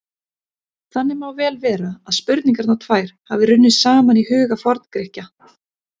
Þannig má vel vera að spurningarnar tvær hafi runnið saman í huga Forngrikkja.